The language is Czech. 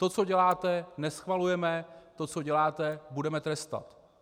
To, co děláte, neschvalujeme, to, co děláte, budeme trestat.